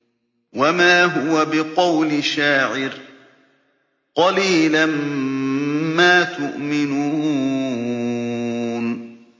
وَمَا هُوَ بِقَوْلِ شَاعِرٍ ۚ قَلِيلًا مَّا تُؤْمِنُونَ